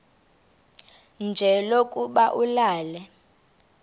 nje lokuba ulale